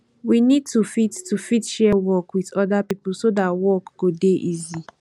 we need to fit to fit share work with oda pipo so that work go dey easy